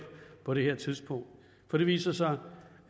på det her tidspunkt for det viser sig